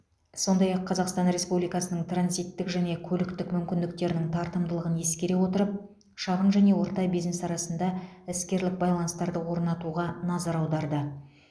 сондай ақ қазақстан республикасының транзиттік және көліктік мүмкіндіктерінің тартымдылығын ескере отырып шағын және орта бизнес арасында іскерлік байланыстарды орнатуға назар аударды